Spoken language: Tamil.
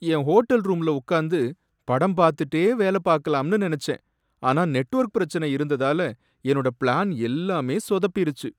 என் ஹோட்டல் ரூம்ல உக்காந்து படம் பார்த்துட்டே வேலை பார்க்கலாம்னு நனைச்சேன், ஆனா நெட்வொர்க் பிரச்சனை இருந்ததால என்னோட பிளான் எல்லாமே சொதப்பிருச்சு.